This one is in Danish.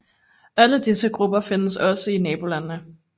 Alle disse grupper findes også i nabolandene